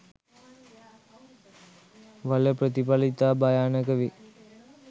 වල ප්‍රථිපල ඉතා භයානක වේ.